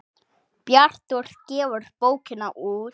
Bjartur gefur bókina út.